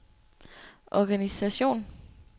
organisation